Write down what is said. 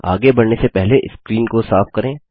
आगे बढ़ने से पहले स्क्रीन को साफ करें